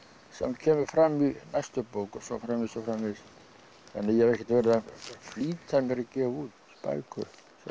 kemur fram í næstu bók og svo framvegis þannig að ég hef ekkert verið að flýta mér að gefa út bækur